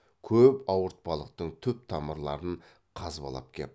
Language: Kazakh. көп ауыртпалықтың түп тамырларын қазбалап кеп